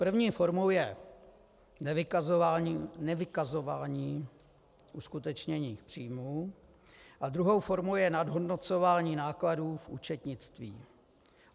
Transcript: První formou je nevykazování uskutečněných příjmů a druhou formou je nadhodnocování nákladů v účetnictví.